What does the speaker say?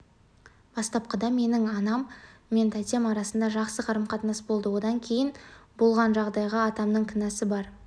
бастапқыда менің анам мен тәтем арасында жақсы қарым-қатынас болды одан кейін болған жағдайға атамның кінәсі бар